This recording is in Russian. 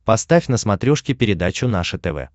поставь на смотрешке передачу наше тв